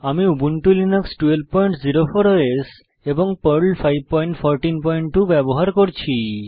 আমি Ubuntu Linux 1204 OS এবং Perl 5142 ব্যবহার করছি